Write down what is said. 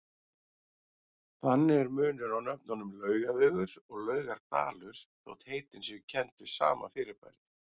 Þannig er munur á nöfnunum Laugavegur og Laugardalur þótt heitin séu kennd við sama fyrirbærið.